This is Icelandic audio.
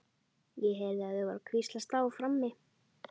Ég heyrði að þau voru að hvíslast á frammi.